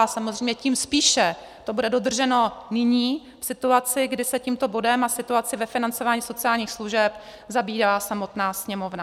A samozřejmě tím spíše to bude dodrženo nyní, v situaci, kdy se tímto bodem a situací ve financování sociálních služeb zabývá samotná Sněmovna.